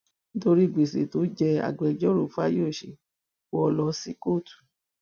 nítorí gbèsè tó jẹ ẹ agbẹjọrò fáyọsé wò ó lọ sí kóòtù